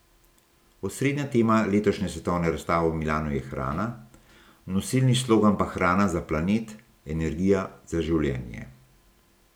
Osrednja tema letošnje svetovne razstave v Milanu je hrana, nosilni slogan pa Hrana za planet, energija za življenje.